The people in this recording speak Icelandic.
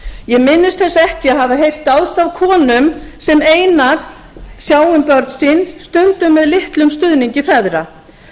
ég minnist þess ekki að hafa heyrt dáðst að konum sem einar sjá um börn sín stundum með litlum stuðningi feðra